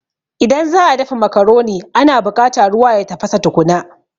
Idan za'a dafa macaroni ana buƙata ruwa ya tafasa tukuna